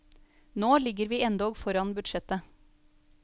Nå ligger vi endog foran budsjettet.